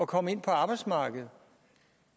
komme ind på arbejdsmarkedet